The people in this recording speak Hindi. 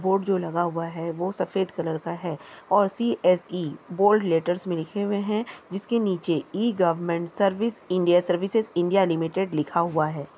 बोर्ड जो लगा हुआ है वो सफेद कलर का है और C S E bold letters मे लिखे हुए है जिसके नीचे e government service India services India limited लिखा हुआ है।